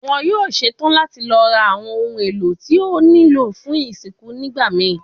Wọn yoo ṣetan lati lọ ra awọn ohun elo ti o nilo fun isinku nigbamii